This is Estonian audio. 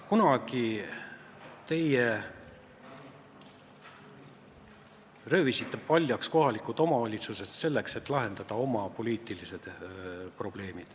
Kunagi teie röövisite paljaks kohalikud omavalitsused, et lahendada oma poliitilised probleemid.